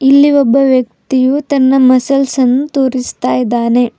ಇಲ್ಲಿ ಒಬ್ಬ ವ್ಯಕ್ತಿಯು ತನ್ನ ಮಸಲ್ಸ್ ಅನ್ನು ತೋರಿಸ್ತಾ ಇದ್ದಾನೆ.